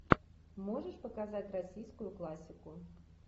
можешь показать российскую классику